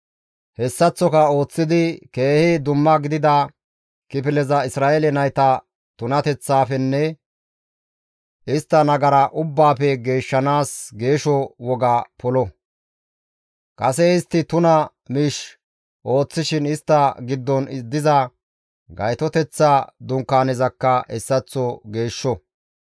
Hessaththoka ooththidi keehi dumma gidida kifileza Isra7eele nayta tunateththafenne istta nagara ubbaafe geeshshanaas geesho woga polo; kase istti tuna miish ooththishin istta giddon diza Gaytoteththa Dunkaanezakka hessaththo geeshsho.